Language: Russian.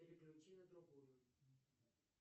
переключи на другую